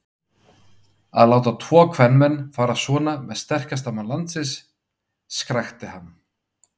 Að láta tvo kvenmenn fara svona með sterkasta mann landsins, skrækti hann.